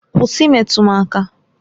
Kwụsị imetụ m aka!